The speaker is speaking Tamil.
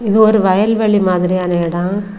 இது ஒரு வயல்வெளி மாத்ரியான இடோ.